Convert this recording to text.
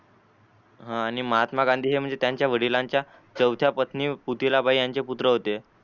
आणि महात्मा गांधी म्हणजे हे त्यांच्या वडिलांच्या चौथ्या पत्नी पतीला बाई यांचे पुत्र होते.